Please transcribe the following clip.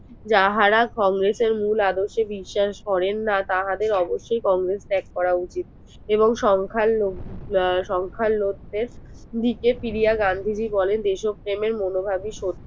যাহারা কংগ্রেস এর মূল আদর্শ বিশ্বাস করেন না তাহাদের অবসই কংগ্রেস ত্যাগ করা উচিত এবং সংখ্যা লঘু লোক কে গান্ধীজি বলেন দেশপ্রেমের মনোভাবই